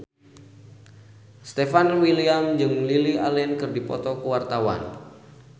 Stefan William jeung Lily Allen keur dipoto ku wartawan